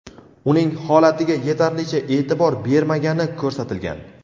uning holatiga yetarlicha e’tibor bermagani ko‘rsatilgan.